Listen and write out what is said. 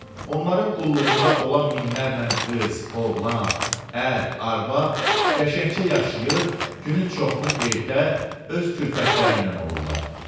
Onların qulluğunda olan minlərlə qız, oğlan, ər, arvad qəşəngcə yaşayır, günün çoxunu evdə öz külfətləri ilə olurlar.